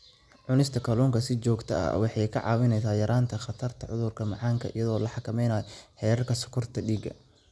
Cunista kalluunka si joogto ah waxay kaa caawinaysaa yaraynta khatarta cudurka macaanka iyadoo la xakameynayo heerarka sonkorta dhiigga.